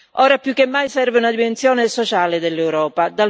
Ora più che mai serve una dimensione sociale dell'Europa.